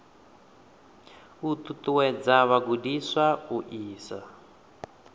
u ṱuṱuwedza vhagudiswa u isa